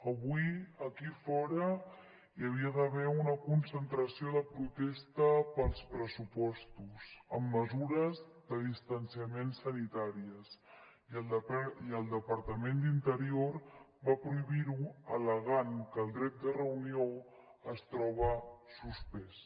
avui aquí fora hi havia d’haver una concentració de protesta pels pressupostos amb mesures de distanciament sanitàries i el departament d’interior va prohibir ho al·legant que el dret de reunió es troba suspès